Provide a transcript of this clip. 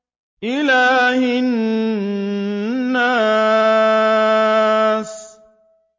إِلَٰهِ النَّاسِ